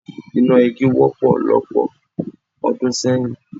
Iná igi wọ́pọ̀ lọ́pọ̀ ọdún sẹ́yìn.